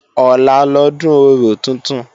Ọ̀la lọ́dún orò tuntun